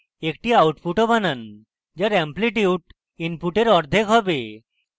একটি output বানান যার অ্যাপ্লিটিউট input অর্ধেক হবে